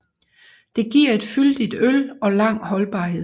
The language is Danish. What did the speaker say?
Det giver et fyldigt øl og lang holdbarhed